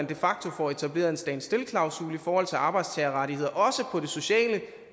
de facto etableres en stand still klausul i forhold til arbejdstagerrettigheder også på det sociale